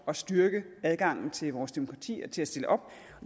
at styrke adgangen til vores demokrati og til at stille op og